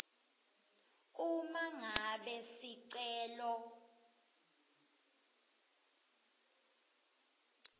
uma ngabe sicelo